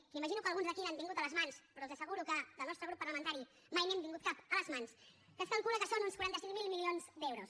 que imagino que alguns d’aquí n’han tingut a les mans però els asseguro que al nostre grup parlamentari mai n’hem tingut cap a les mans que es calcula que són uns quaranta cinc mil milions d’euros